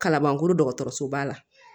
Kalabankoro dɔgɔtɔrɔso ba la